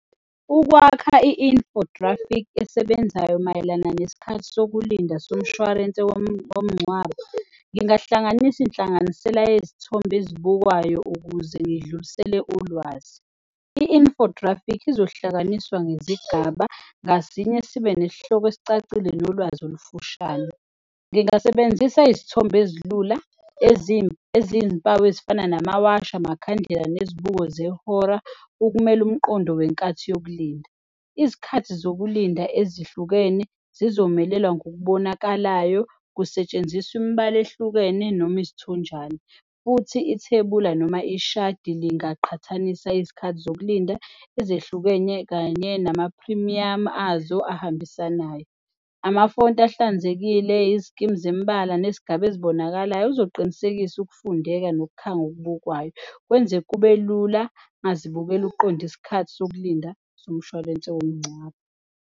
Ukwakha i-infographic esebenzayo mayelana nesikhathi sokulinda somshwarense womngcwabo, ngingahlanganisa inhlanganisela yezithombe ezibukwayo ukuze ngidlulisele ulwazi. I-infographic izohlanganiswa ngezigaba ngasinye sibe nesihloko esicacile nolwazi olufushane. Ngingasebenzisa izithombe ezilula eziy'mpawu ezifana namawashi, amakhandlela nezibuko zehora okumele umqondo wenkathi yokulinda. Izikhathi zokulinda ezihlukene zizomelewa ngokubonakalayo, kusetshenziswa imibala ehlukene noma izithonjana futhi ithebula noma ishadi lingaqhathanisa izikhathi zokulinda ezehlukenye kanye namaphrimiyamu azo ahambisanayo. Amafonti ahlanzekile, izikimu zemibala nezigaba ezibonakalayo kuzoqinisekisa ukufundeka nokukhanga okubukwayo, kwenze kube lula ongazibukela uqonde isikhathi sokulinda somshwalense womngcwabo.